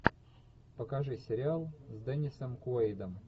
покажи сериал с деннисом куэйдом